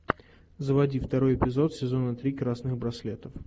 заводи второй эпизод сезона три красных браслетов